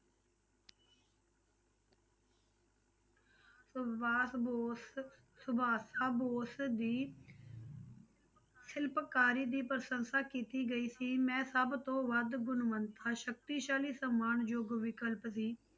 ਸੁਭਾਸ਼ ਬੋਸ ਸੁਭਾਸ ਬੋਸ ਦੀ ਸਿਲਪਕਾਰੀ ਦੀ ਪ੍ਰਸੰਸਾ ਕੀਤੀ ਗਈ ਸੀ, ਮੈਂ ਸਭ ਤੋਂ ਵੱਧ ਗੁਣਵਤਾ ਸਕਤੀਸ਼ਾਲੀ ਸਨਮਾਨਯੋਗ ਵਿਕਲਪ ਦੀ